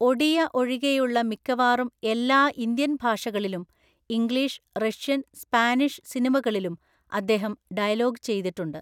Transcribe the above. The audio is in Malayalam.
ഒഡിയ ഒഴികെയുള്ള മിക്കവാറും എല്ലാ ഇന്ത്യൻ ഭാഷകളിലും ഇംഗ്ലീഷ്, റഷ്യൻ, സ്പാനിഷ് സിനിമകളിലും അദ്ദേഹം ഡയലോഗ് ചെയ്തിട്ടുണ്ട്.